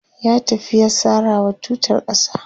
ya tafi ya sarawa tutar ƙasa